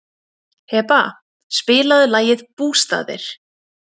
Heba, spilaðu lagið „Bústaðir“.